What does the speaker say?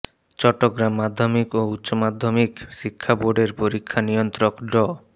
চট্টগ্রাম মাধ্যমিক ও উচ্চ মাধ্যমিক শিক্ষা বোর্ডের পরীক্ষা নিয়ন্ত্রক ড